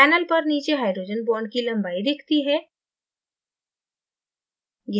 panel पर नीचे hydrogen bond की लम्बाई दिखती है